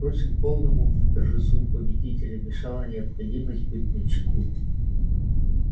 впрочем полному торжеству победителя мешала необходимость быть начеку